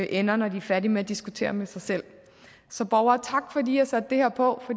ender når de er færdige med at diskutere med sig selv så borgere tak fordi i har sat det her på